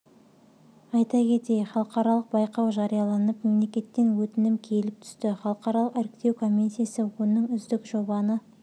айта кетейік халықаралық байқау жарияланып мемлекеттен өтінім келіп түсті халықаралық іріктеу комиссиясы оның үздік жобаны